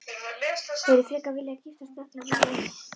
Hefðirðu frekar viljað giftast drottningunni en mömmu?